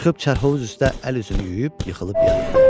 Çıxıb çərhovuz üstə əl üzünü yuyub yıxılıb yatdı.